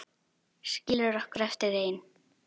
Skilur okkur eftir ein.